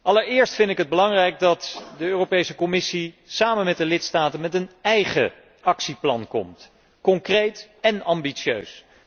Allereerst vind ik het belangrijk dat de Europese Commissie samen met de lidstaten met een eigen actieplan komt, concreet en ambitieus.